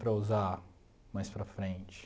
Para usar mais para frente.